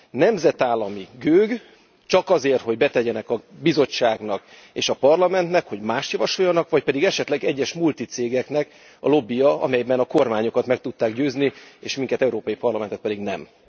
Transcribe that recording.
Nemzetállami gőg, csak azért, hogy betegyenek a Bizottságnak és a Parlamentnek, hogy mást javasoljanak, vagy pedig esetleg egyes multi cégeknek a lobbija, amelyben a kormányokat meg tudták győzni, és minket, Európai Parlamentet pedig nem.